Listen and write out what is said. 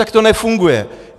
Tak to nefunguje.